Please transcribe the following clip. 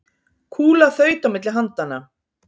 Kúla þaut á milli handanna.